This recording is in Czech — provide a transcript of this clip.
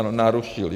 Ano, narušili.